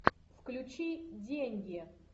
включи деньги